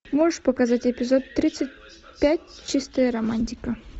можешь показать эпизод тридцать пять чистая романтика